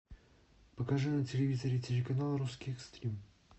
покажи на телевизоре телеканал русский экстрим